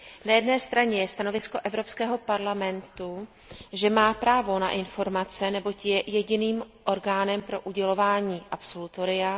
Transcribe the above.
Na jedné straně je stanovisko Evropského parlamentu, že má právo na informace, neboť je jediným orgánem pro udělování absolutoria.